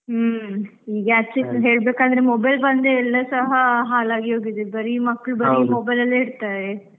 ಹ್ಮ್, ಈಗ ಅದ್ಕೇಸ ಹೇಳ್ಬೇಕಂದ್ರೆ mobile ಬಂದೇ ಎಲ್ಲಾ ಸಹ ಹಾಳಾಗಿ ಹೋಗಿದೆ, ಬರೀ mobile ಅಲ್ಲೇ ಇರ್ತಾರೆ.